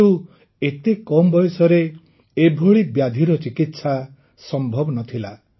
କିନ୍ତୁ ଏତେ କମ ବୟସରେ ଏଭଳି ବ୍ୟାଧିର ଚିକିତ୍ସା ସମ୍ଭବ ନ ଥିଲା